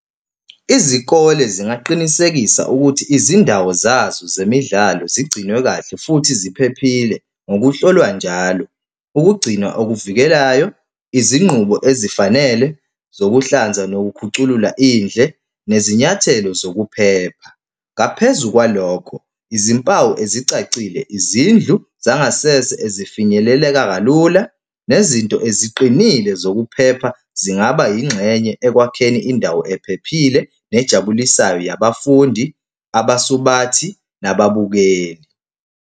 Izikole zingaqinisekisa ukuthi izindawo zazo zemidlalo zigcinwe kahle futhi ziphephile ngokuhlolwa njalo, ukugcinwa okukuvikelayo, izinqubo ezifanele zokuhlanza nokukhuculula indle, nezinyathelo zokuphepha. Ngaphezu kwalokho, izimpawu ezicacile izindlu zangasese ezifinyeleleka kalula, nezinto eziqinile zokuphepha zingaba yingxenye ekwakheni indawo ephephile nejabulisayo yabafundi, abasubathi, nababukeli.